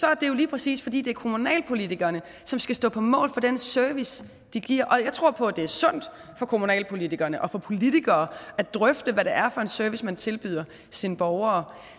er det jo lige præcis fordi det er kommunalpolitikerne som skal stå på mål for den service de giver og jeg tror på at det er sundt for kommunalpolitikerne og for politikere at drøfte hvad det er for en service man tilbyder sine borgere